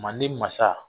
Manden masa